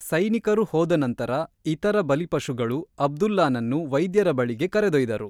ಸೈನಿಕರು ಹೋದ ನಂತರ, ಇತರ ಬಲಿಪಶುಗಳು ಅಬ್ದುಲ್ಲಾನನ್ನು ವೈದ್ಯರ ಬಳಿಗೆ ಕರೆದೊಯ್ದರು.